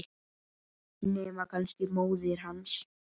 Nema kannski móðir hans.